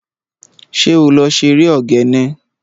Ṣé o lè ṣeré ogene?